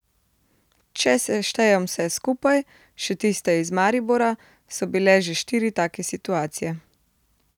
Če seštejem vse skupaj, še tiste iz Maribora, so bile že štiri take situacije.